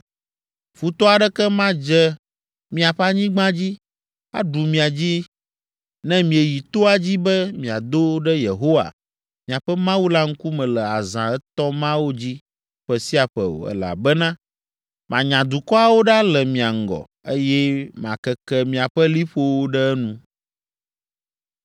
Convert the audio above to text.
Futɔ aɖeke madze miaƒe anyigba dzi, aɖu mia dzi ne mieyi toa dzi be miado ɖe Yehowa, miaƒe Mawu la ŋkume le azã etɔ̃ mawo dzi ƒe sia ƒe o, elabena manya dukɔawo ɖa le mia ŋgɔ, eye makeke miaƒe liƒowo ɖe enu.